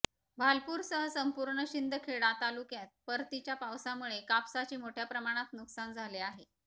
भालपूरसह संपूर्ण शिंदखेडा तालुक्यात परतीच्या पावसामुळे कापसाचे मोठय़ा प्रमाणात नुकसान झाले आहे